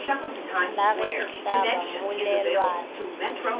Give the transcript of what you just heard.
la ge e hlaba mmolelwana